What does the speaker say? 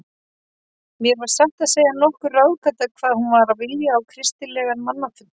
Mér var satt að segja nokkur ráðgáta hvað hún var að vilja á kristilegan mannfund.